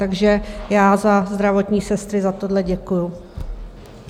Takže já za zdravotní sestry za tohle děkuji.